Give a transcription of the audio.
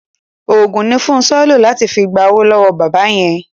Òògùn ni Fúnṣọ́ lò láti fi gba owó lọ́wọ́ bàbá yẹn.